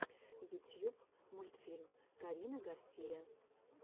ютьюб мультфильм карина гарсия